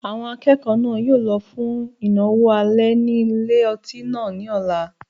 Àwọn akẹ́kọ̀ọ́ náà yóò lọ fún ìnáwó alẹ́ ní ilé-otí náà ní ọ̀la